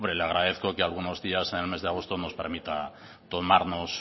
le agradezco que algunos días en el mes de agosto nos permita tomarnos